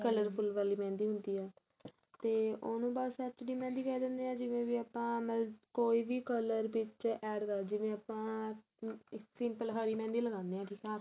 colorful ਵਾਲੀ mehendi ਹੁੰਦੀ ਏ ਤੇ ਉਹਨੂੰ ਬੱਸ HD mehendi ਕਹਿ ਦਿੰਦੇ ਆ ਜਿਵੇਂ ਵੀ ਆਪਾਂ ਮਤਲਬ ਕੋਈ color ਵਿੱਚ add ਕਰ ਜਿਵੇਂ ਆਪਾਂ simple ਹਰੀ mehendi ਲੱਗਾਣੇ ਆ ਠੀਕ ਆ